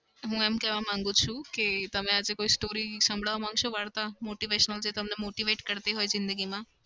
હું એમ કેવા માગું છું કે તમે આજે કોઈ story સંભળાવા માંગશો વાર્તા? motivation જે તમને motivate કરતી હોય જીંદગીમાં.